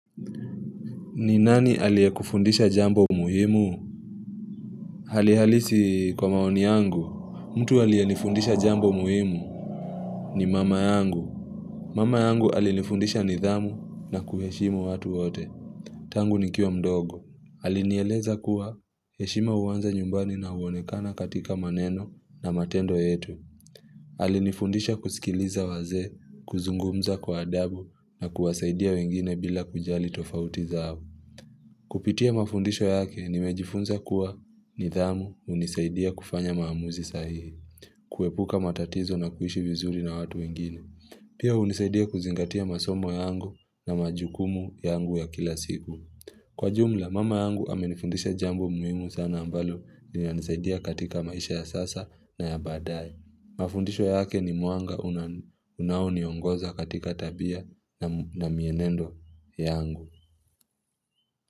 Ninani alie kufundisha jambo muhimu? Halihalisi kwa maoni yangu. Mtu aliye nifundisha jambo muhimu ni mama yangu. Mama yangu alinifundisha nidhamu na kuheshimu watu wote. Tangu nikiwa mdogo. Alinieleza kuwa heshima huanza nyumbani na huonekana katika maneno na matendo yetu. Alinifundisha kusikiliza wazee, kuzungumza kwa adabu na kuwasaidia wengine bila kujali tofautiza abu. Kupitia mafundisho yake, nimejifunza kuwa nidhamu hunisaidia kufanya maamuzi sahihi, kuepuka matatizo na kuishi vizuri na watu wengine. Pia hunisaidia kuzingatia masomo yangu na majukumu yangu ya kila siku. Kwa jumla, mama yangu amenifundisha jambo muhimu sana ambalo nina nisaidia katika maisha ya sasa na ya baadaye. Mafundisho yake ni mwanga unaoniongoza katika tabia na mienendo yangu.